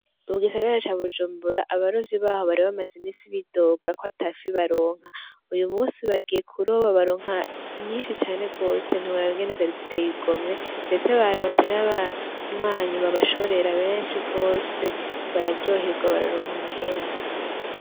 Mugisagara ca Bujumbura abarovyi baho bari bamaze iminsi bidoga ko atafi baronka. Uyu munsi bagiye kuroba baronka nyinshi cane rwose ntiworaba ingene zari ziteye igomwe. Ndetse baronse n'abanywanyi babashorera benshi rwose, bararyorwa bararonka amahera.